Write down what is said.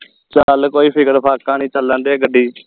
ਚੱਲ ਕੋਈ ਫਿਕਰ ਫਾਕਾ ਨਹੀਂ ਚੱਲਣ ਦੇ ਗੱਡੀ